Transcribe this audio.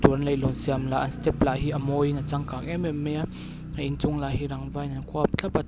puan leihlawn siam lah an step lah hi amawi in a changkang em em mai a a inchung lah hi rangva in an kual thlap a tin--